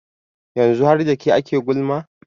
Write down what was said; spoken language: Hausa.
yanzu har da ke ake gulma